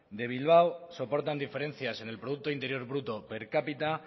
de bilbao soportan diferencias en el producto interior bruto per cápita